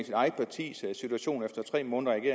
sit eget parti ser situationen efter tre måneder i